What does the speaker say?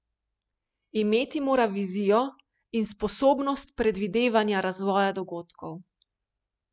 Imeti mora vizijo in sposobnost predvidevanja razvoja dogodkov.